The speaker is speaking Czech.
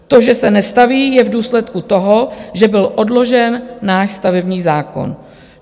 To, že se nestaví, je v důsledku toho, že byl odložen náš stavební zákon.